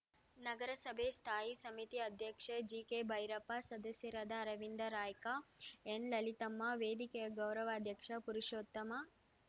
ನಗರಸಭೆ ಸ್ಥಾಯಿ ಸಮಿತಿ ಅಧ್ಯಕ್ಷ ಜಿಕೆಭೈರಪ್ಪ ಸದಸ್ಯರಾದ ಅರವಿಂದ ರಾಯ್ಕ ಎನ್‌ಲಲಿತಮ್ಮ ವೇದಿಕೆಯ ಗೌರವಾಧ್ಯಕ್ಷ ಪುರುಷೋತ್ತಮ